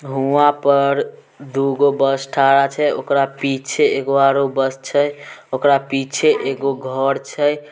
वहां पर दू गो बस ठड़ा छै ऊकरा पीछे एगो आरो बस छै ऊकरा पीछे एगो घर छै।